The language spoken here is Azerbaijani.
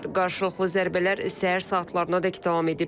Qarşılıqlı zərbələr səhər saatlarınadək davam edib.